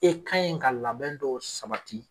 E ka in ka labɛn dɔw sabati